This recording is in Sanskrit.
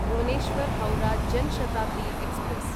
भुवनेश्वर् हौरा जन् शताब्दी एक्स्प्रेस्